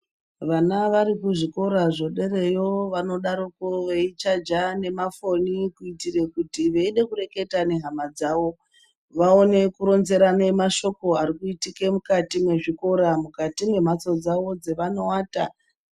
Vana vari kuzvikora zvidereyo, vanodaroko veichaja nemafoni kuitire kuti veida kureketa nehama dzavo vaone kuronzerane mashoko ari kuitike mukati mezvikora, mukati membatso dzavo dzavanovata.